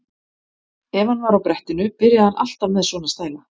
Ef hann var á brettinu byrjaði hann alltaf með svona stæla.